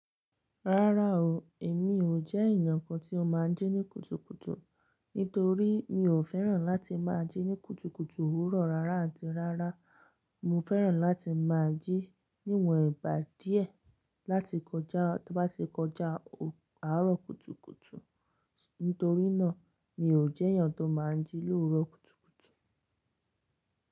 Rárá o, èmi ò jẹ́ ènìyàn kan tí ó máa ń jí ní kùtùkùtù. Nítorí mi ò fẹ́ràn láti máa jí ní kùtùkùtù òwúrọ̀ rárá àti rárá. Mo fẹ́ràn láti máa jí níwọ̀n ìgbà díẹ̀ láti kọjá, tí ó bá ti kọjá àárọ̀ kùtùkùtù. Nítorí náà, mi ò jẹ́ ènìyàn tó máa ń jí lówuro kùtùkùtù.